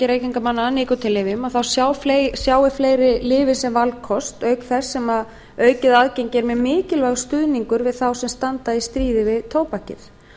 reykingamanna að nikótínlyfjum sjái fleiri lyfin sem valkost auk þess sem aukið aðgengi er mjög mikilvægur stuðningur við þá sem standa í stríði við tóbakið